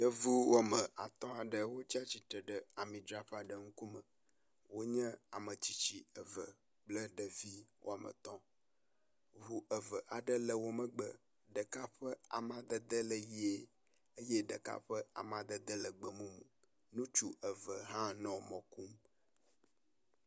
Yevu wome atɔ̃ aɖe wotsi tsitre ɖe ami dzraƒe aɖe ŋku me, wonye ametsitsi eve kple ɖevi wometɔ̃, ŋu eve aɖewo le womegbe, ɖeka ƒe amadede le ʋie eye ɖeka ƒe amadede le gbemumu, ŋutsu eve hã nɔ mɔ kɔm